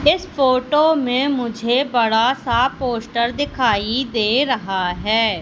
इस फोटो में मुझे बड़ा सा पोस्टर दिखाई दे रहा है।